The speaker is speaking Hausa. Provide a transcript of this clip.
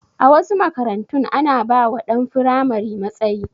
A wasu makarantun ana ba wa ɗan firamare matsayi